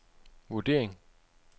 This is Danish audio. vurdering